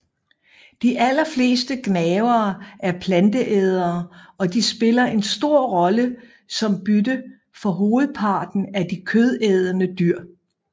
De aller fleste gnavere er planteædere og de spiller en stor rolle som bytte for hovedparten af de kødædende dyr